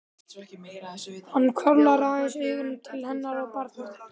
Hann hvarflar aðeins augum til hennar og barnanna.